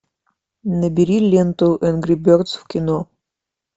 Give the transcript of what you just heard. набери ленту энгри бердс в кино